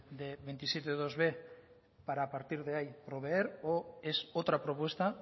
de veintisiete iib para a partir de ahí proveer o es otra propuesta